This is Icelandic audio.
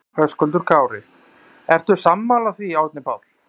Höskuldur Kári: Ertu sammála því Árni Páll?